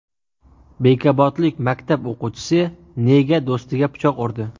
Bekobodlik maktab o‘quvchisi nega do‘stiga pichoq urdi?